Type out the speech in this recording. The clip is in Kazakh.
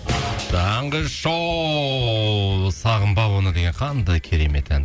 таңғы шоу сағынба оны деген қандай керемет ән